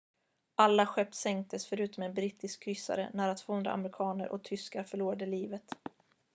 alla skepp sänktes förutom en brittisk kryssare nära 200 amerikaner och tyskar förlorade livet